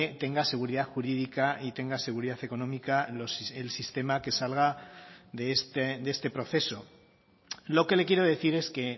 tenga seguridad jurídica y tenga seguridad económica el sistema que salga de este proceso lo que le quiero decir es que